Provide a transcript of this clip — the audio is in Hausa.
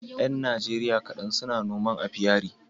Yan Najeriya kaɗan suna yin noma apiary